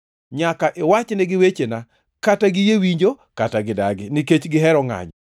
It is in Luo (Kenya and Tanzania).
Nyaka iwachnegi wechena, kata giyie winjo kata gidagi, nikech gihero ngʼanyo.